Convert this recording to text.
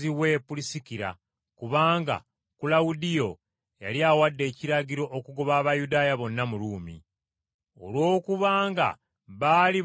Olw’okuba nga baali bakola omulimu gwe gumu ogw’okukola weema, n’abeeranga nabo, era n’akolanga nabo.